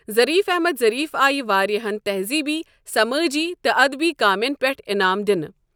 Zarif Ahmad Zarif آے واریاہن تہزیٖبی، سَمأجی تہٕ ادَبی کامین پؠٹھ انعام دنہٕ۔